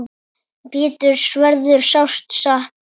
Péturs verður sárt saknað.